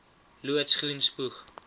loods groen spoeg